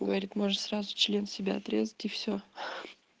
говорит можешь сразу член себе отрезать и все